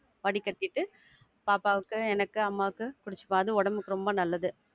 வடிகட்டிட்டு பாப்பாவுக்கு, எனக்கு, அம்மாக்கு, குடிச்சிப்போம். அது உடம்புக்கு ரொம்ப நல்லது.